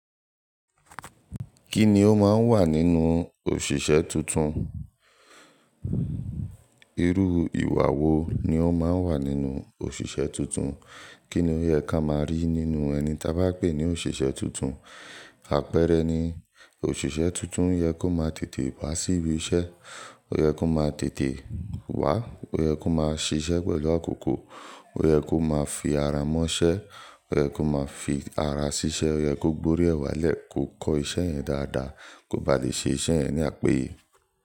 Kí ni ó máa ń wà nínú òṣìṣẹ́ tuntun? Irú ìwà wo ni ó máa ń wà nínú òṣìṣẹ́ tuntun? Kí ni ó yẹ ká máa rí nínú ẹni ta bá pè ní òṣìṣẹ́ tuntun? Àpẹẹrẹ ni òṣìṣẹ́ tuntun yẹ kó máa tètè wá sí ibi iṣẹ́, ó yẹ kó máa tètè wá, ó yẹ kó máa ṣiṣẹ́ pẹ̀lú àkókò, ó yẹ kó máa fi ara mọ́ iṣẹ́, ó yẹ kó máa fi ara sí iṣẹ́, ó yẹ kó gbórí ẹ̀ wà lẹ́ kọ̀ kọ́ iṣẹ́ yẹn dáadáa kó ba lè ṣe iṣẹ́ yẹn ní àpèèyẹ.